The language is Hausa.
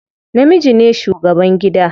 Namiji ne shugaban gida.